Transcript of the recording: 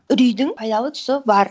үрейдің пайдалы тұсы бар